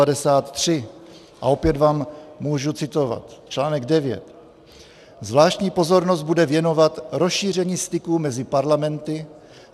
A opět vám můžu citovat, článek 9: "Zvláštní pozornost bude věnovat rozšíření styků mezi parlamenty.